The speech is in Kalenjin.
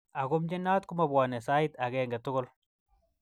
Ako mnyenot komabwanei sait agenge tugul.